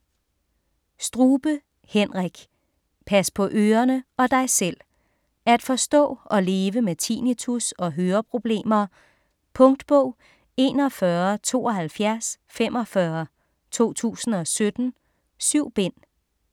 Strube, Henrik: Pas på ørerne og dig selv: at forstå og leve med tinnitus og høreproblemer Punktbog 417245 2017. 7 bind.